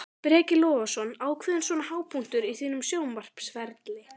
Breki Logason: Ákveðinn svona hápunktur á þínum sjónvarpsferli?